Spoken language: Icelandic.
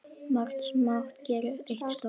Margt smátt gerir eitt stórt!